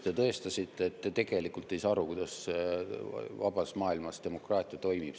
Te tõestasite, et te tegelikult ei saa aru, kuidas vabas maailmas demokraatia toimib.